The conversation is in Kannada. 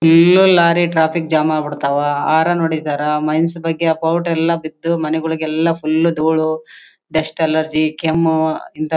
ಫುಲ್ ಲಾರಿ ಟ್ರಾಫಿಕ್ ಜಾಮ್ ಆಗ್ಬಿಡ್ತವಾ ಹಾರನ್ ಹೊಡೀತಾರೆ ಮೈನ್ಸ್ ಬಗ್ಗೆ ಈ ಆ ಪೌಡರ್ ಎಲ್ಲ ಬಿದ್ದು ಮನೆಗಳಿಗೂ ಎಲ್ಲ ಫುಲ್ ಧೂಳು ಡಸ್ಟ್ ಅಲರ್ಜಿ ಕೆಮ್ಮು ಇಂತ--